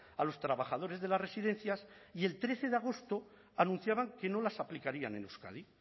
a los trabajadores de las residencias y el trece de agosto anunciaban que no las aplicarían en euskadi